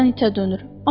Hərdən itə dönür.